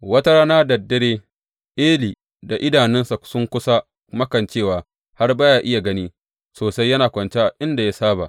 Wata rana da dare Eli da idanunsa sun kusa makancewa har ba ya iya gani sosai yana kwance a inda ya saba.